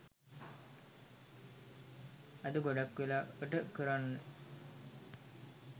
අද ගොඩක් වෙලාවට කරන්නෙ